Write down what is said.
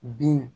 Bin